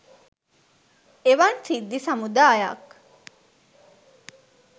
එවන් සිද්ධි සමුදායක්